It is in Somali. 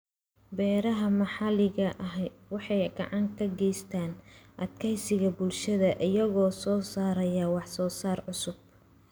Beeraha maxalliga ahi waxay gacan ka geystaan ??adkeysiga bulshada iyagoo soo saaraya wax soo saar cusub.